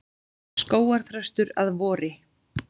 Skógarþröstur að vori.